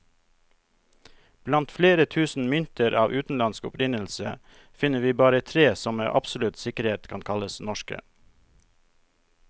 Blant flere tusen mynter av utenlandsk opprinnelse, finner vi bare tre som med absolutt sikkerhet kan kalles norske.